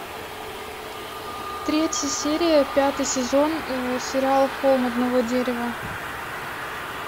третья серия пятый сезон сериал холм одного дерева